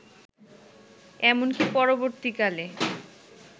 এমনকি পরবর্তীকালে